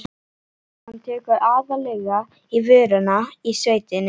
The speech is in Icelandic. Hann tekur aðallega í vörina í sveitinni.